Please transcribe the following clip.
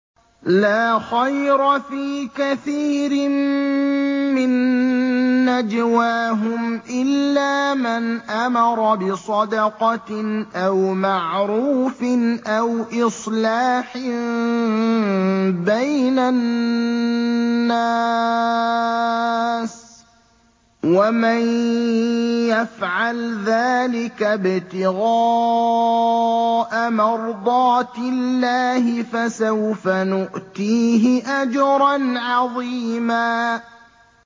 ۞ لَّا خَيْرَ فِي كَثِيرٍ مِّن نَّجْوَاهُمْ إِلَّا مَنْ أَمَرَ بِصَدَقَةٍ أَوْ مَعْرُوفٍ أَوْ إِصْلَاحٍ بَيْنَ النَّاسِ ۚ وَمَن يَفْعَلْ ذَٰلِكَ ابْتِغَاءَ مَرْضَاتِ اللَّهِ فَسَوْفَ نُؤْتِيهِ أَجْرًا عَظِيمًا